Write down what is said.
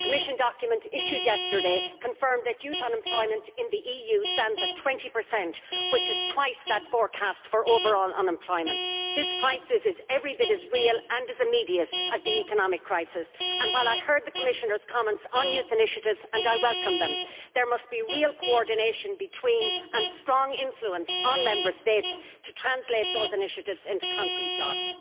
A Commission document issued yesterday confirmed that youth unemployment in the EU stands at 20, which is twice that forecast for overall unemployment. This crisis is every bit as real and as immediate as the economic crisis and, while I heard the Commissioner's comments on youth initiatives and I welcome them, there must be real coordination between, and strong influence on, Member States to translate those initiatives into concrete jobs.